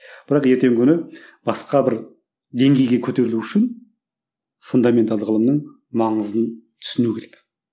бірақ ертеңгі күні басқа бір деңгейге көтерілу үшін фундаменталды ғылымның маңызын түсіну керек